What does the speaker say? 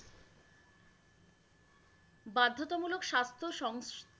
বাধ্যতামূলক স্বাস্থ্য সং